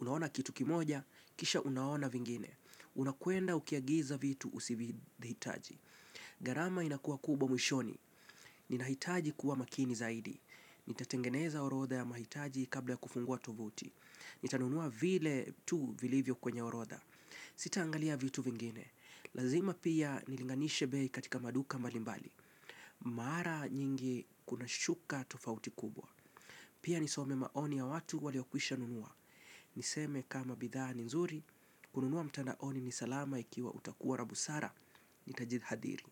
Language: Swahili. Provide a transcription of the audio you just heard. Unaona kitu kimoja, kisha unaona vingine. Unakwenda ukiagiza vitu usivihitaji. Gharama inakuwa kubwa mwishoni. Ninahitaji kuwa makini zaidi. Nitatengeneza orodha ya mahitaji kabla ya kufungua tuvuti. Nitanunua vile tu vilivyo kwenye orodha. Sitaangalia vitu vingine. Lazima pia nilinganishe bei katika maduka mbalimbali. Mara nyingi kunashuka tofauti kubwa. Pia nisome maoni ya watu waliokwisha nunua. Niseme kama bidhaa ni nzuri. Kununua mtandaoni ni salama ikiwa utakuwa la busara. Nitajihadhiri.